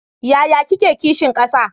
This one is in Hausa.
Yaya kike kishin kasa?